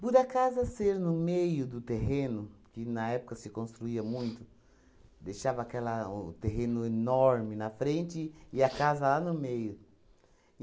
Por a casa a ser no meio do terreno, que na época se construía muito, deixava aquela o o terreno enorme na frente e a casa lá no meio.